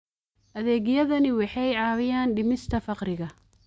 Adeegyadani waxay caawiyaan dhimista faqriga.